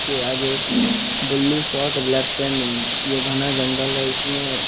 के आगे ये घना जंगल है इसमें--